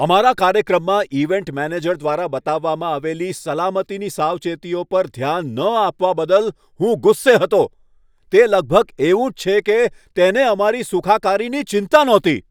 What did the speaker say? અમારા કાર્યક્રમમાં event manager દ્વારા બતાવવામાં આવેલી સલામતીની સાવચેતીઓ પર ધ્યાન ન આપવા બદલ હું ગુસ્સે હતો. તે લગભગ એવું જ છે કે તેને અમારી સુખાકારીની ચિંતા નહોતી!